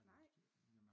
Nej?